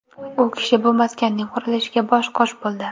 U kishi bu maskanning qurilishiga bosh-qosh bo‘ldi.